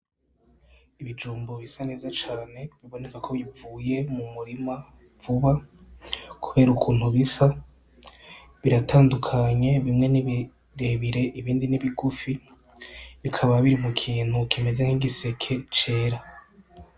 Ibijumbu bisa neza cane biboneka ko bivuye mu murima vuba kubera ukuntu bisa. Biratandukanye, bimwe ni birebire, ibindi ni bigufi. Bikaba biri mu kintu kimeze nk'igiseke cera.